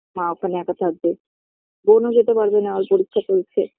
মা ওখানে একা থাকবে বোন ও যেতে পারবেনা ওর পরীক্ষা চলছে